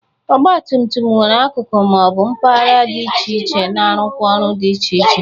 Ọgbatumtum nwere akụkụ ma ọ bụ mpagara dị iche iche na-arụkwa ọrụ dị iche iche.